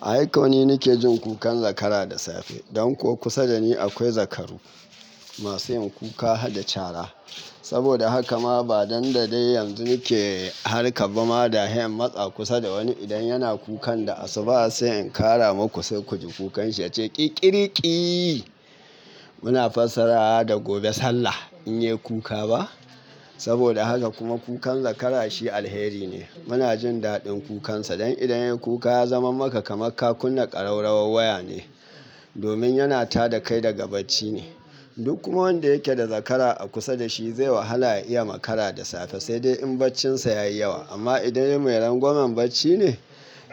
Ai kawai ni nake jin kukan zakara da safe. Dan kuwa kusa da ni akwai zakaru masu yin kuka har da cara. Saboda haka ma ba dandadai yanzu nake harka ba. Ma da hayan matsa kusa da wani idan yana kukan da asu, ba sai in kara ma ku sai ku ji kukanshi yace ƙi ƙiriƙi. Muna fassara da gobe sallah in yayi kuka ba. Saboda haka kuma kukan zakara shi alheri ne. Muna jin daɗin kukansa dan idan yayi kuka ya zama maka kamar kakunna kararrawar waya ne. Domin yana tada kai daga bacci ne. Duk kuma wanda yake da zakara a kusa da shi zai wahala ya iya makara da safe, sai dai in baccinsa ya yi yawa. Amma idan ya yi mai rangwamen bacci ne,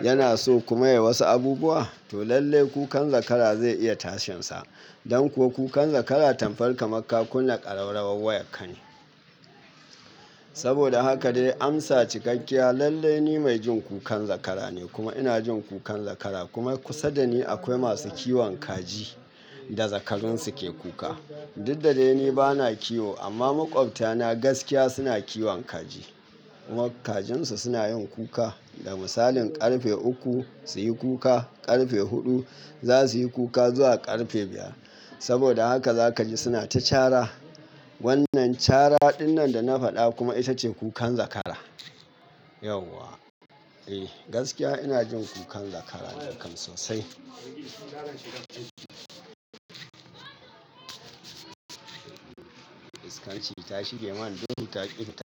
yana so ku maye wasu abubuwa, to lallai kukan zakara zai iya tashinsa. Dan kuwa kukan zakara tamfar ka markakunna kararrawar waya ka ne. Saboda haka dai amsa cikakkiya lallai ni mai jin kukan zakara ne kuma ina jin kukan zakara. Kuma kusa da ni akwai masu kiwon kaji da zakarun su ke kuka. Duk da dai ni bana kiwo amma maƙwabta na gaskiya suna kiwon kaji. Kajinsu suna yin kuka da misalin ƙarfe uku su yi kuka, ƙarfe huɗu za su yi kuka zuwa ƙarfe biyar. Saboda haka za ka ji suna ta cara. Wannan cara dinnan da na faɗa kuma ita ce kukan zakara. Yauwa. Eh gaskiya ina jin kukan zakara sosai. Iskanci ta shige man duhu ta ƙifita.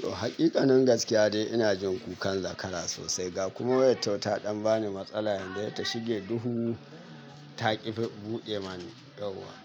To haqiƙanin gaskiya dai ina jin kukan zakara sosai. Ga kuma wayar tau taɗan bani matsala yanzu dai ta shige duhu ta ƙifi buɗe mani yauwa.